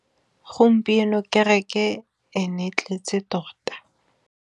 Gompieno kêrêkê e ne e tletse tota.